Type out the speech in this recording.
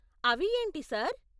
అవి ఏంటి, సార్ ?